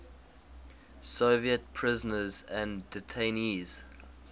soviet prisoners and detainees